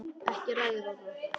Ekki að ræða það.